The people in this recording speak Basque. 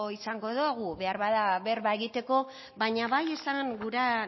izango dogu beharbada berba egiteko baina bai esan gura